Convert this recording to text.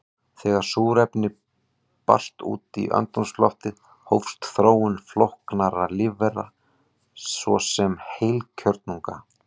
Þegar súrefni barst út í andrúmsloftið hófst þróun flóknara lífvera, svo sem heilkjörnunga.